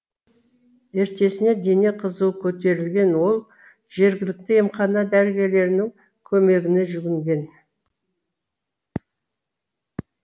ертесіне дене қызуы көтерілген ол жергілікті емхана дәрігерлерінің көмегіне жүгінген